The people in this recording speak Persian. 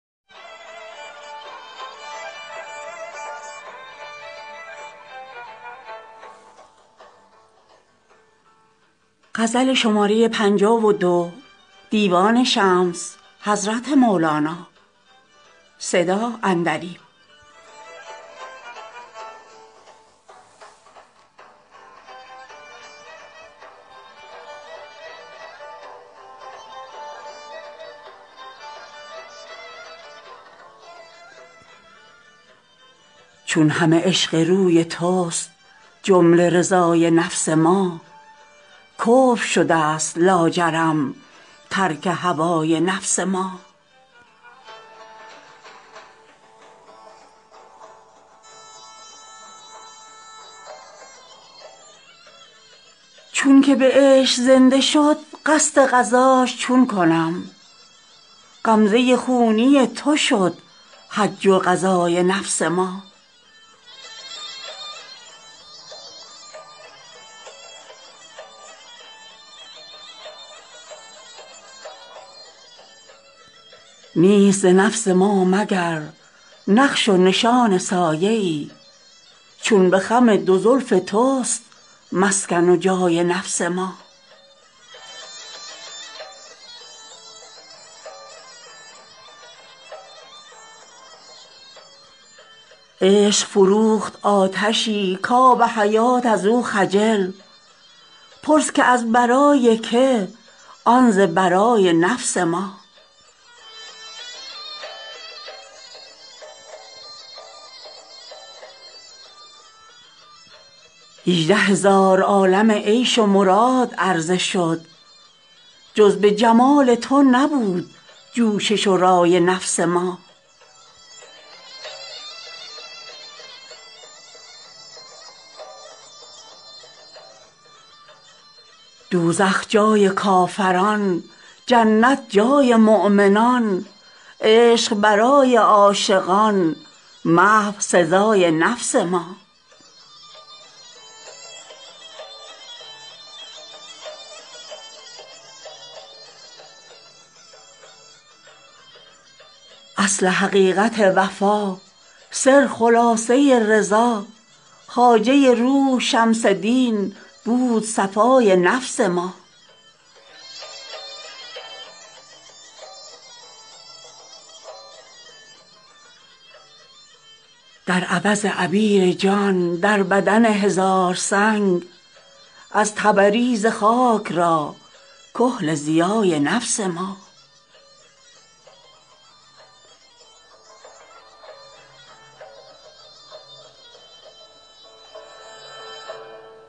چون همه عشق روی تست جمله رضای نفس ما کفر شده ست لاجرم ترک هوای نفس ما چونکه به عشق زنده شد قصد غزاش چون کنم غمزه خونی تو شد حج و غزای نفس ما نیست ز نفس ما مگر نقش و نشان سایه ای چون به خم دو زلف تست مسکن و جای نفس ما عشق فروخت آتشی کآب حیات از او خجل پرس که از برای که آن ز برای نفس ما هژده هزار عالم عیش و مراد عرضه شد جز به جمال تو نبود جوشش و رای نفس ما دوزخ جای کافران جنت جای مؤمنان عشق برای عاشقان محو سزای نفس ما اصل حقیقت وفا سر خلاصه رضا خواجه روح شمس دین بود صفای نفس ما در عوض عبیر جان در بدن هزار سنگ از تبریز خاک را کحل ضیای نفس ما